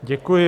Děkuji.